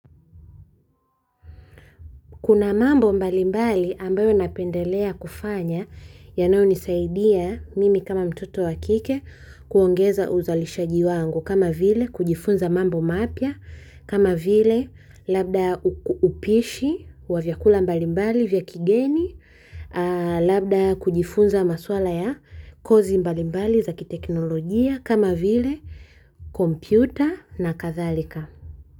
Kuna mambo mbalimbali ambayo napendelea kufanya yanayo nisaidia mimi kama mtoto wakike kuongeza uzalishaji wangu kama vile kujifunza mambo mapya kama vile labda upishi wa vyakula mbalimbali vya kigeni labda kujifunza maswala ya kozi mbalimbali za kiteknolojia kama vile kompyuta na kathalika.